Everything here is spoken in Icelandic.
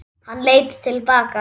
Hann leit til baka.